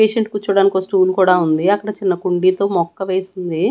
Patient కూర్చోడానికి ఒక stool కూడా ఉంది అక్కడ ఒక చిన్న కుండీతో మొక్క వేసుంది.